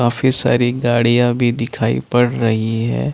काफी सारी गाड़िया भी दिखाई पड़ रही है ।